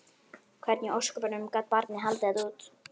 Hvernig í ósköpunum gat barnið haldið þetta út?